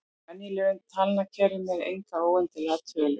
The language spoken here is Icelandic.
Í venjulegum talnakerfum eru engar óendanlegar tölur.